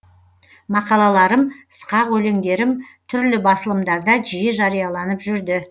мақалаларым сықақ өлеңдерім түрлі басылымдарда жиі жарияланып жүрді